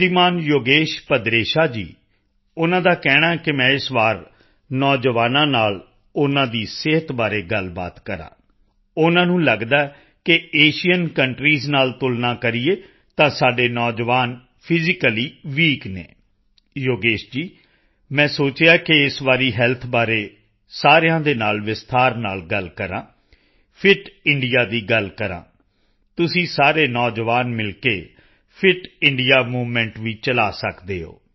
ਸ਼੍ਰੀਮਾਨ ਯੋਗੇਸ਼ ਭਦਰੇਸ਼ਾ ਜੀ ਉਨ੍ਹਾਂ ਦਾ ਕਹਿਣਾ ਹੈ ਕਿ ਮੈਂ ਇਸ ਵਾਰ ਨੌਜਵਾਨਾਂ ਨਾਲ ਉਨ੍ਹਾਂ ਦੀ ਸਿਹਤ ਬਾਰੇ ਗੱਲਬਾਤ ਕਰਾਂ ਉਨ੍ਹਾਂ ਨੂੰ ਲੱਗਦਾ ਹੈ ਕਿ ਏਸ਼ੀਅਨ ਕੰਟਰੀਜ਼ ਨਾਲ ਤੁਲਨਾ ਕਰੀਏ ਤਾਂ ਸਾਡੇ ਨੌਜਵਾਨ ਫਿਜ਼ੀਕਲੀ ਵੀਕ ਹਨ ਯੋਗੇਸ਼ ਜੀ ਮੈਂ ਸੋਚਿਆ ਹੈ ਕਿ ਇਸ ਵਾਰੀ ਹੈਲਥ ਬਾਰੇ ਸਾਰਿਆਂ ਦੇ ਨਾਲ ਵਿਸਥਾਰ ਨਾਲ ਗੱਲ ਕਰਾਂ ਫਿਟ ਇੰਡੀਆ ਦੀ ਗੱਲ ਕਰਾਂ ਤੁਸੀਂ ਸਾਰੇ ਨੌਜਵਾਨ ਮਿਲ ਕੇ ਫਿਟ ਇੰਡੀਆ ਮੂਵਮੈਂਟ ਵੀ ਚਲਾ ਸਕਦੇ ਹੋ